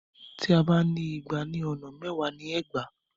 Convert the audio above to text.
Tí a bá ń igba ní ọ̀nà mẹ́wàá ni ẹgbàá.